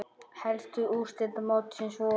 Helstu úrslit mótsins voru